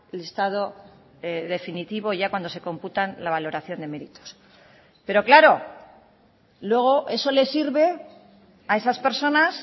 listado definitivo ya cuando se computan la valoración de meritos pero claro luego eso les sirve a esas personas